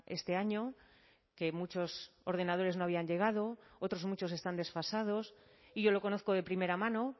este año que muchos ordenadores no habían llegado otros muchos están desfasados y yo lo conozco de primera mano